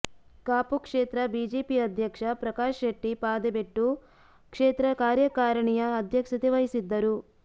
ಕಾಪು ಕ್ಷೇತ್ರ ಬಿಜೆಪಿ ಅಧ್ಯಕ್ಷ ಪ್ರಕಾಶ್ ಶೆಟ್ಟಿ ಪಾದೆಬೆಟ್ಟು ಕ್ಷೇತ್ರ ಕಾರ್ಯಕಾರಿಣಿಯ ಅಧ್ಯಕ್ಷತೆ ವಹಿಸಿದ್ದರು